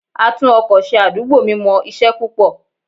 A tún-ọkọ ṣe àdúgbò mi mọ isẹ púpò.